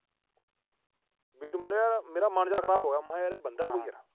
ਵੀ ਤੂੰ ਮੰਨੇਗਾ, ਮੇਰਾ ਮਨ ਜਾ ਖਰਾਬ ਹੋ ਗਿਆ। ਮਹਾ ਯਾਰ ਇਹ ਬੰਦਾ ਕੋਈ।